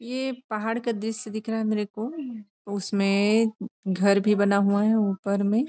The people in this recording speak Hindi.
ये पहाड़ का दृश्य दिख रहा है मेरे को उसमें घर भी बना हुआ है ऊपर में।